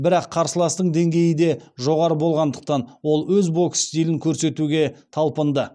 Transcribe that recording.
бірақ қарсыластың деңгейі де жоғары болғандықтан ол өз бокс стилін көрсетуге талпынды